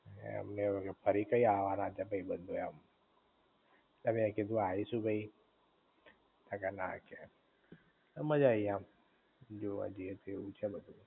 એમને એવું કે ફરી કયે આવાના છે ભઇબંધુ એમ, ઍટલે મે કીધું આઈશું ભઇ તો કે ના કે, મજા આઈ એમ જોવા જાઇ એ તો એવું છે બધુ